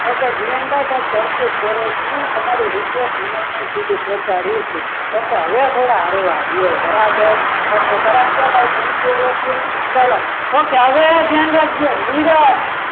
okay Jivanbhai કંઈ કરશું તમારી request madam સુધી પહોંચાડીશું okay હવે થોડા હળવા રો બરાબર okay ગરાગ છે ભાઈ thank you all of you ચલો હવે ધ્યાન રાખજો નીરજ